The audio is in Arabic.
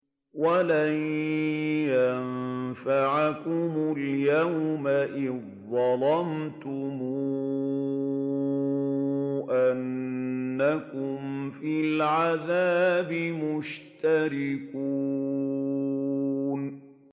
وَلَن يَنفَعَكُمُ الْيَوْمَ إِذ ظَّلَمْتُمْ أَنَّكُمْ فِي الْعَذَابِ مُشْتَرِكُونَ